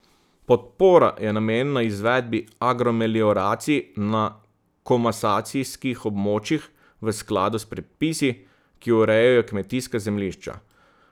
Podpora je namenjena izvedbi agromelioracij na komasacijskih območjih v skladu s predpisi, ki urejajo kmetijska zemljišča.